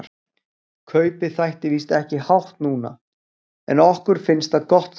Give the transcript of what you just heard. Kaupið þætti víst ekki hátt núna, en okkur fannst það gott þá.